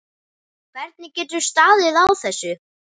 Hvernig getur staðið á þessu.